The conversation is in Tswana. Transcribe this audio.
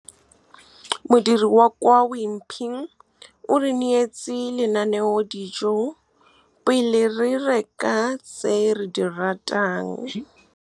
Modiri wa kwa Wimpy o re neetse lenanedijô pele re reka tse re di ratang. Modiri wa kwa Wimpy o re neetse lenanedijô pele re reka tse re di ratang.